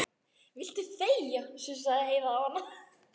Viltu þegja, sussaði Heiða á hana.